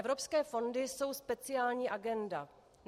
Evropské fondy jsou speciální agenda.